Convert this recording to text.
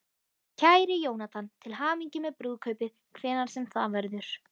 Kæri Jónatan, til hamingju með brúðkaupið, hvenær sem það verður.